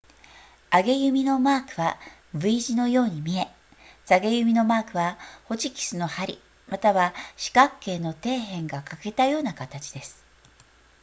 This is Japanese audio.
上げ弓のマークは v 字のように見え下げ弓のマークはホチキスの針または四角形の底辺が欠けたような形です